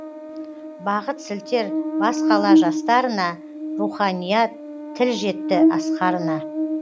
бағыт сілтер бас қала жастарына руханият тіл жетті асқарына